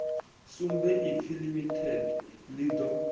sumbe ipfi limited ḽi ḓo